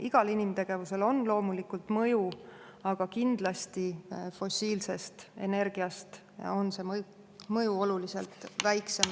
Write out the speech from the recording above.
Igal inimtegevusel on loomulikult mõju, aga kindlasti on see mõju oluliselt väiksem kui fossiilse energia puhul.